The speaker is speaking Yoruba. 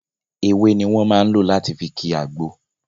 Ewé ni wọn máa ń lò láti fi kii àgbò